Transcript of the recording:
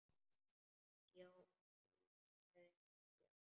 Ég á út, sagði Björn.